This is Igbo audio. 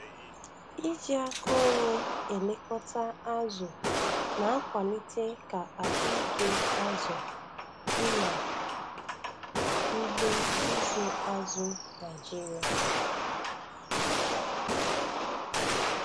iji aka onwe elekọta azụ na-akwalite ka ahụike azụ dị n' ugbo ịzụ azụ Naịjiria.